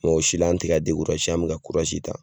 o si la an tɛka an mɛ ka ta.